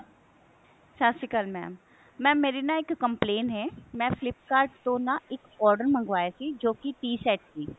ਸਤਿ ਸ਼੍ਰੀ ਅਕਾਲ mam mam ਮੇਰੀ ਨਾ ਇੱਕ complain ਹੈ ਮੈਂflip kart ਤੋਂ ਨਾ ਇੱਕ order ਮੰਗਵਾਇਆ ਸੀ ਜੋ ਕੀ tea set ਸੀ